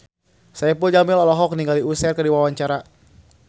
Saipul Jamil olohok ningali Usher keur diwawancara